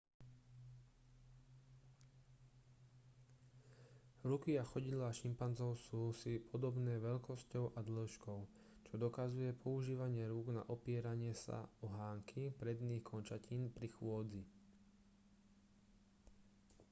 ruky a chodidlá šimpanzov sú si podobné veľkosťou a dĺžkou čo dokazuje používanie rúk na opieranie sa o hánky predných končatín pri chôdzi